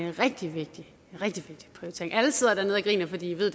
en rigtig vigtig prioritering alle sidder dernede og griner for de ved